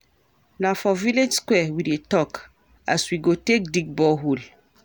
Na for village square we dey tok as we go take dig bore hole.